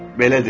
Belə dedi.